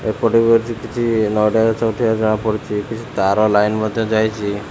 ଏପଟେ ହଉଚି କିଛି ନଡ଼ିଆ ଗଛ ଉଠିବାର ଜଣାପଡୁଛି କିଛି ତାର ଲାଇନ ମଧ୍ୟ ଯାଇଚି।